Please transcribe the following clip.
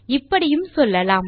இப்படியும் சொல்லலாம்